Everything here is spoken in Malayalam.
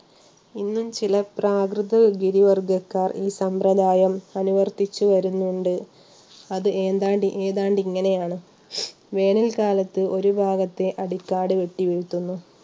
ഇന്നും ചില പ്രാകൃത ഗിരി വർഗ്ഗക്കാർ ഈ സമ്പ്രദായം അനുവർത്തിച്ചു വരുന്നുണ്ട്. അത് എന്താണ്ട് ഏതാണ്ട് ഇങ്ങനെയാണ് വേനൽക്കാലത്ത് ഒരു ഭാഗത്തെഅടിക്കാട് വെട്ടി വീഴ്ത്തുന്നു.